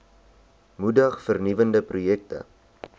moedig vernuwende projekte